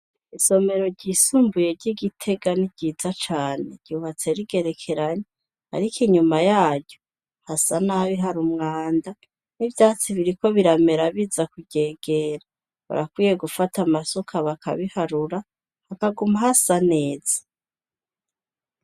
Isomero ryisumbuyery''igitega ni ryiza cane ryubatse rigerekeranye, ariko inyuma yayu hasa nabi hari umwanda n'ivyatsi biriko biramera biza kuryegera barakwiye gufata amasoka bakabiharura hakaguma hasa neza.